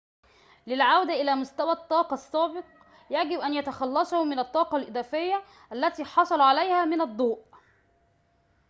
للعودة إلى مستوى الطاقة السابق يجب أن يتخلصوا من الطاقة الإضافية التي حصلوا عليها من الضوء